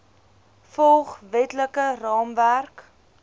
volg wetlike raamwerk